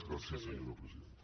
gràcies senyora presidenta